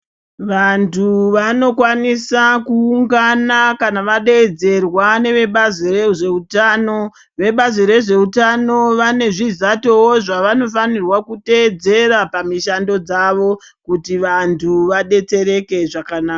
Vantu vanokwanisa kuwungana kana vadedzerwa ngevebazi rezveutano. Vebazi rezveutano vane zvizato zvavanofanirwa kutevedzera pamishando dzavo kuti vantu vadetsereke zvakanaka.